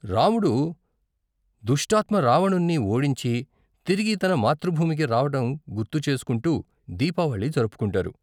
రాముడు దుష్టాత్మ రావణున్ని ఓడించి తిరిగి తన మాతృభూమికి రావటం గుర్తుచేసుకుంటూ దీపావళి జరుపుకుంటారు.